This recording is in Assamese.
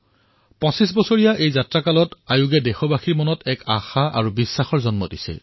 ২৫ বছৰৰ এই যাত্ৰাত এই সংস্থাই দেশবাসীৰ মাজত এক আশা এক বিশ্বাসৰ পৰিৱেশ সৃষ্টি কৰিছে